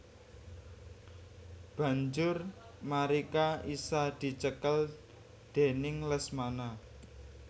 Banjur Marica isa dicekel déning Lesmana